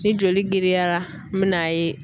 Ni joli giriyara min n'a ye